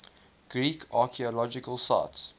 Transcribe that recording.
greek archaeological sites